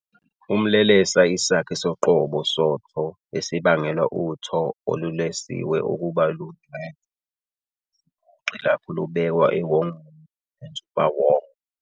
Umlelesa isakhi soqobo soTho esibangela uTho olulelesiwe ukuba lungcwethe isiphoqi lapho lubekwa ewongweni lenzubawonga.